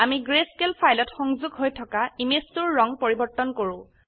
আমি grayscale ফাইলত সংযোগ হৈ থকা ইমেজ 2 ৰ ৰঙ পৰিবৰ্তন কৰো